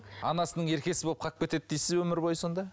анасының еркесі болып қалып кетеді дейсіз бе өмір бойы сонда